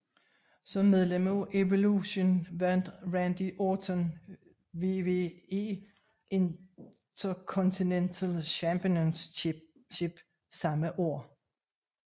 Som medlem af Evolution vandt Randy Orton WWE Intercontinental Championship samme år